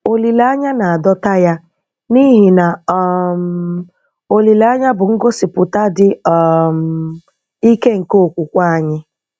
Olileanya na-adọta Ya - n'ihi na um olileanya bụ ngosipụta dị um ike nke okwukwe anyị!